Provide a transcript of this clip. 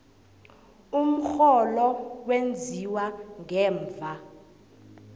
umrholo wenziwa ngemva